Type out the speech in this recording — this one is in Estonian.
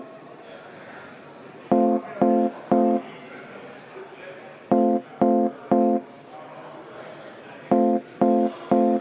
V a h e a e g